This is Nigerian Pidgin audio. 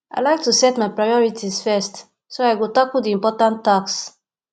i like to set my priorities first so i go tackle the important tasks